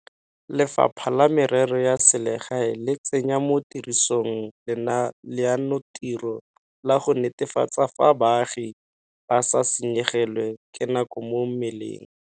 Lefapha la Merero ya Selegae le tsenya mo tirisong leanotiro la go netefatsa fa baagi ba sa senyegelwe ke nako mo meleng.